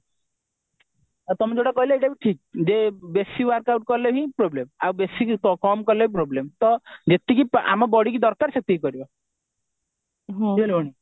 ଆଉ ତମେ ଯଉଟା କହିଲ ସେଇଟା ବି ଠିକ ବେଶି workout କରିଲେ ହିଁ problem ଆଉ ବେଶି କମ କଲେ ବି problem ଯେତିକି ଆମ body କୁ ଦରକାର ସେତିକି କରିବା